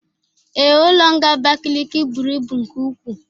Ee, ụlọ nga Abakiliki bụrụ ịbụ nke ụkwụ